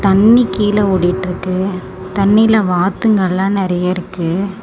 தண்ணி கீழ ஓடிட்டுருக்கு தண்ணில வாத்துங்க எல்லா நிறைய இருக்கு.